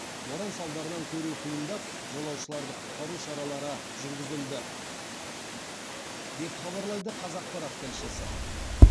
боран салдарынан көру қиындап жолаушыларды құтқару шаралары жүргізілді деп хабарлайды қазақпарат тілшісі